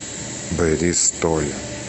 бристоль